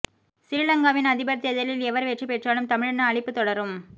சிறிலங்காவின் அதிபர் தேர்தலில் எவர் வெற்றி பெற்றாலும் தமிழின அழிப்புத் தொடரும்